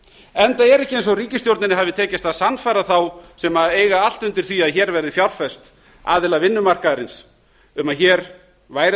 enda er ekki eins og ríkisstjórninni hafi tekist að sannfæra þá sem eiga allt undir því að hér verði fjárfest aðila vinnumarkaðarins um að hér væri að